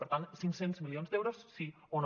per tant cinc cents milions d’euros sí o no